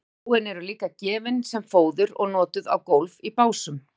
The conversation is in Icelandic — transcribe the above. stráin eru líka gefin sem fóður og notuð á gólf í básum